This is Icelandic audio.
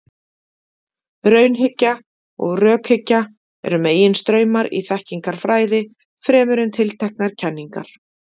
Raunhyggja og rökhyggja eru meginstraumar í þekkingarfræði, fremur en tilteknar kenningar.